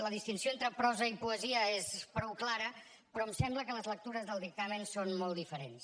la distinció entre prosa i poesia és prou clara però em sembla que les lectures del dictamen són molt diferents